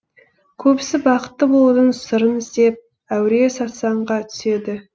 көбісі бақытты болудың сырын іздеп әуре сарсаңға түседі